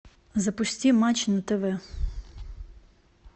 запусти матч на тв